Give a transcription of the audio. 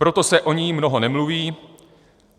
Proto se o ní mnoho nemluví.